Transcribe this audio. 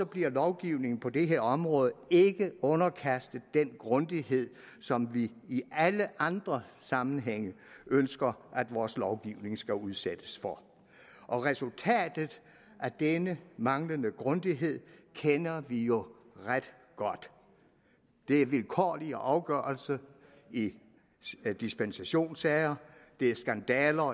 bliver lovgivningen på det her område ikke underkastet den grundighed som vi i alle andre sammenhænge ønsker vores lovgivning skal udsættes for resultatet af denne manglende grundighed kender vi jo ret godt det er vilkårlige afgørelser i dispensationssager det er skandaler